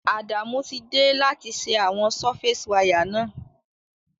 Adamu ti de láti se àwon surface wire náà